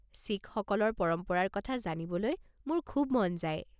শিখসকলৰ পৰম্পৰাৰ কথা জানিবলৈ মোৰ খুব মন যায়।